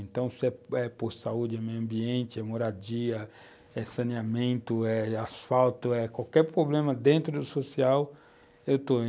Então, se é se é posto de saúde, meio ambiente, moradia, saneamento, eh asfalto, qualquer problema dentro do social, eu estou